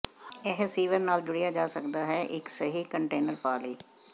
ਇਹ ਸੀਵਰ ਨਾਲ ਜੁੜਿਆ ਜਾ ਸਕਦਾ ਹੈ ਇੱਕ ਸਹੀ ਕੰਟੇਨਰ ਪਾ ਲਈ